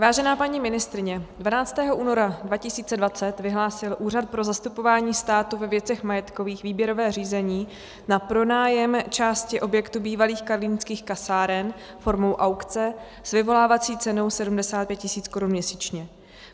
Vážená paní ministryně, 12. února 2020 vyhlásil Úřad pro zastupování státu ve věcech majetkových výběrové řízení na pronájem části objektu bývalých karlínských kasáren formou aukce s vyvolávací cenou 75 000 korun měsíčně.